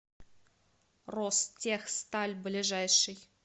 ростехсталь ближайший